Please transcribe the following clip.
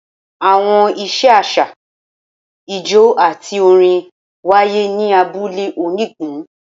Awọn iṣẹ aṣa, ijó ati orin waye ni abule onigun.